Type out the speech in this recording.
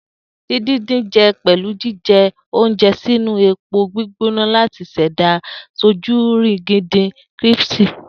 Din-din-jin jẹ pẹlu jijẹ ounjẹ sinu epo gbigbona lati ṣẹda sojurigindin críṣpy